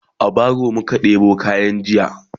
e a baro muka ɗebo kayan jiya